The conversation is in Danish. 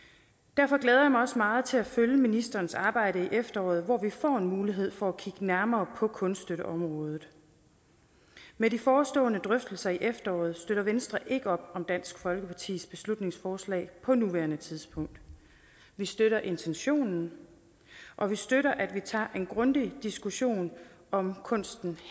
derfor glæder jeg mig også meget til at følge ministerens arbejde i efteråret hvor vi får mulighed for at kigge nærmere på kunststøtteområdet med de forestående drøftelser i efteråret støtter venstre ikke op om dansk folkepartis beslutningsforslag på nuværende tidspunkt vi støtter intentionen og vi støtter at vi tager en grundig diskussion om kunsten